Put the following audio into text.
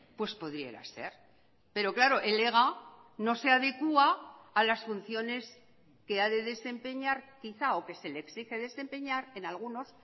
pues pudiera ser pero claro el ega no se adecua a las funciones que ha de desempeñar quizá o que se le exige desempeñar en algunos